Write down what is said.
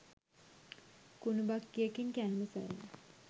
කුණු බක්‌කියකින් කෑම සොයන